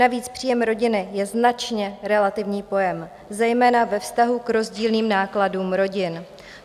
Navíc příjem rodiny je značně relativní pojem, zejména ve vztahu k rozdílným nákladům rodin.